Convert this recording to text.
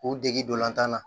K'u dege dolan na